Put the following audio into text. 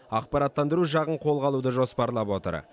ақпараттандыру жағын қолға алуды жоспарлап отыр